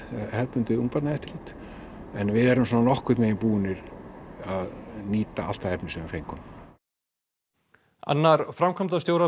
hefðbundið ungbarnaeftirlit en við erum svona nokkurn vegin búin að nýta allt það efni sem við fengum annar framkvæmdastjóra